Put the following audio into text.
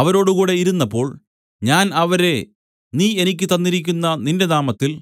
അവരോടുകൂടെ ഇരുന്നപ്പോൾ ഞാൻ അവരെ നീ എനിക്ക് തന്നിരിക്കുന്ന നിന്റെ നാമത്തിൽ